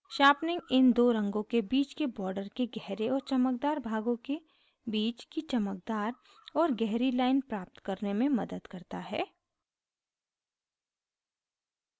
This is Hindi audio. sharpening इन दो रंगों के बीच के border के गहरे और चमकदार भागों के बीच की चमकदार और गहरी line प्राप्त करने में मदद करता है